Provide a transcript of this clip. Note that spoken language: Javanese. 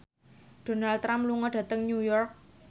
Donald Trump lunga dhateng New York